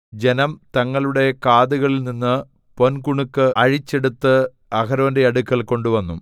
ജനം തങ്ങളുടെ കാതുകളിൽ നിന്ന് പൊൻകുണുക്ക് അഴിച്ച് എടുത്ത് അഹരോന്റെ അടുക്കൽ കൊണ്ടുവന്നു